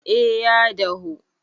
eh ya dahu